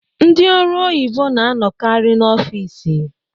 Ndị ọrụ oyibo na-anọkarị n'ọfici.